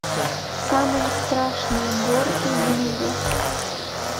самые страшные горки в мире